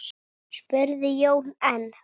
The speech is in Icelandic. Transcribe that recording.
spurði Jón enn.